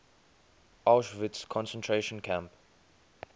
auschwitz concentration camp